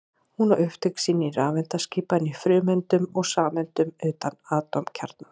Hún á upptök sín í rafeindaskipan í frumeindum og sameindum utan atómkjarnans.